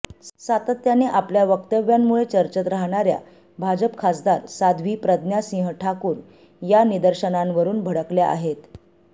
सातत्याने आपल्या वक्तव्यांमुळे चर्चेत राहणाऱ्या भाजप खासदार साध्वी प्रज्ञा सिंह ठाकूर या निदर्शनांवरून भडकल्या आहेत